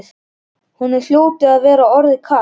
Honum hljóti að vera orðið kalt.